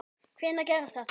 Hvenær gerðist þetta?